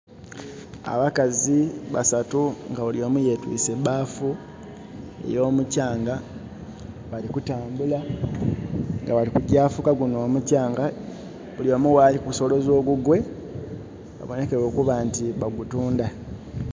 abakazi basatu nga buli omu yetwiise baafu ey'omuchanga bali kutambula nga balikugya kufuka gunho omuchanga buli omu ghaali kusoloza ogugwe, babonekere okuba nti bagutundha.